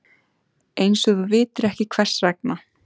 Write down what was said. Einsog þú vitir ekki hvers vegna.